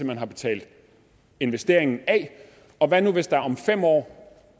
man har betalt investeringen af og hvad nu hvis der om fem år